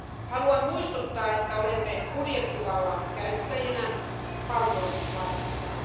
Haluan muistuttaa, että olemme budjettivallan käyttäjinä paljon vartijoina.